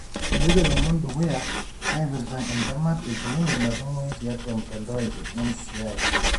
epoito ilomon dukuya napirta etemat e clinic natumoyu tiatua mtandao e NCI.